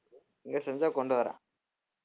இங்க செஞ்சா கொண்டுவர்றேன்